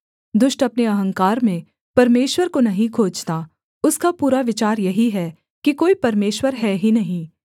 दुष्ट अपने अहंकार में परमेश्वर को नहीं खोजता उसका पूरा विचार यही है कि कोई परमेश्वर है ही नहीं